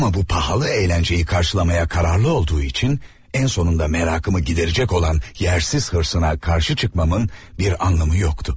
Amma bu bahalı əyləncəni qarşılamağa qərarlı olduğu üçün, ən sonunda marağımı yatıracaq olan yersiz hərisliyinə qarşı çıxmağımın bir anlamı yox idi.